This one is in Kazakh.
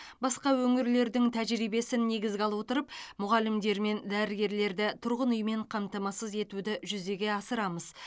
басқа өңірлердің тәжірибесін негізге ала отырып мұғалімдер мен дәрігерлерді тұрғын үймен қамтамасыз етуді жүзеге асырамыз